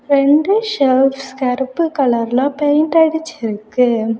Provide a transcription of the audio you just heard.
இரண்டு செல்ஃப்ஸ் கருப்பு கலர்ல பெயிண்ட் அடிச்சிருக்கு.